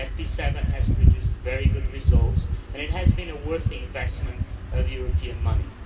FP7 has produced very good results and it has been a worthwhile investment of European money.